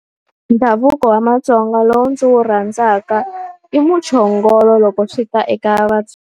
Ndhavuko wa vaTsonga lowu ndzi wu rhandzaka, i muchongolo loko swi ta eka .